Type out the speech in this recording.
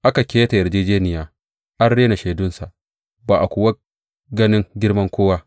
Aka keta yarjejjeniya, an rena shaidunsa ba a kuwa ganin girman kowa.